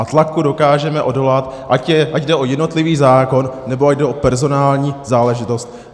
A tlaku dokážeme odolat, ať jde o jednotlivý zákon, nebo ať jde o personální záležitost.